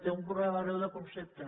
té un problema greu de concepte